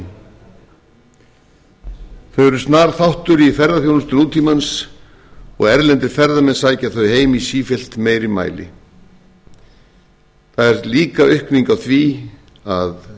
þau eru snar þáttur í ferðaþjónustu nútímans og erlendir ferðamenn sækja þau heim í sífellt meiri mæli það er líka aukning á því að